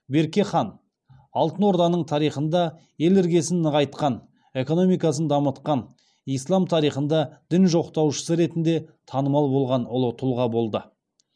берке хан алтын орданың тарихында ел іргесін нығайтқан экономикасын дамытқан ислам тарихында дін жоқтаушысы ретінде танымал болған ұлы тұлға болды